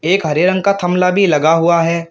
एक हरे रंग का थमला भी लगा हुआ है।